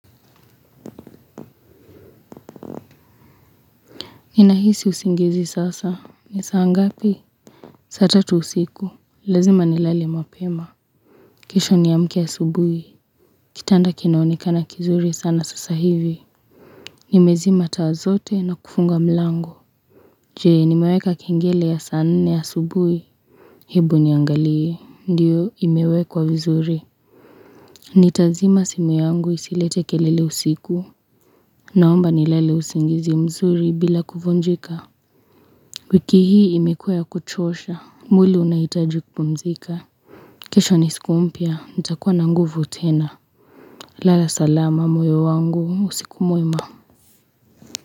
Ninahisi usingizi sasa. Ni saa ngapi? Saa tatu usiku. Lazima ni lale mapema. Kesho niamke asubuhi. Kitanda kinaonekana kizuri sana sasa hivi. Nimezima taa zote na kufunga mlango. Jee, nimeweka kengele ya saa nne asubuhi. Hebu niangalie. Ndiyo imewekwa vizuri. Nitazima simu yangu isilete kelele usiku. Naomba nil lale usingizi mzuri bila kuvunjika. Wiki hii imekua ya kuchosha. Mwili unaitakupumzika kesho nisikumpia, nitakuwa na nguvu tena Lala salama moyo wangu, usiku mwema.